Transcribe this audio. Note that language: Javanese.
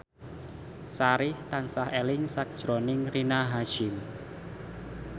Sari tansah eling sakjroning Rina Hasyim